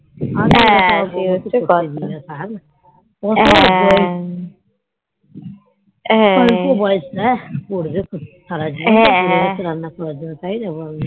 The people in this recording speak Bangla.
আর কত বলবো কত আর বয়েস অল্প বয়েস না করবে জন্যে তাই না বল